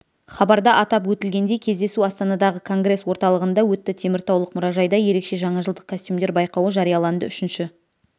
хабарда атап өтілгендей кездесу астанадағы конгресс-орталығында өтті теміртаулық мұражайда ерекше жаңа жылдық костюмдер байқауы жарияланды үшінші